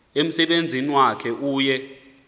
umsebenzi wakhe uye